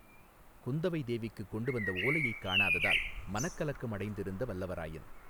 குந்தவை தேவிக்குக் கொண்டுவந்த ஓலையைக் காணாததால் மனக்கலக்கம் அடைந்திருந்த வல்லவராயன்.